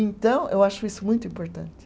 Então, eu acho isso muito importante.